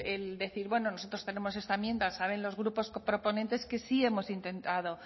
el decir bueno nosotros tenemos esta enmienda saben los grupos proponentes que sí hemos intentado